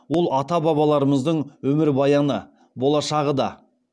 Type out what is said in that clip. ол ата бабаларымыздың өмірбаяны болашағы да